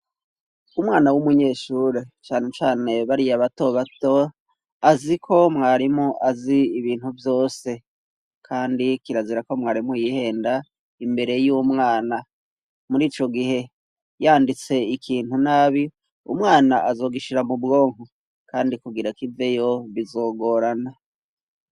Umwana w'umunyeshure cane cane bariye abato bato azi ko mwarimu azi ibintu byose kandi kirazira ko mwarimu yihenda imbere y'umwana muri ico gihe yanditse ikintu nabi umwana azogishira mu bwonko kandi kugira ko iveyo bizogorana.